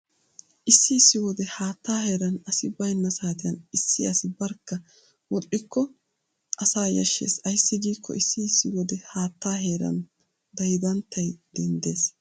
Issi issi wode haattaa heeran asi baynna saatiyan issi asi barkka wodhdhikko asaa yashshees. Ayssi giikko issi issi wode haattaa heeran daydanttay denddees.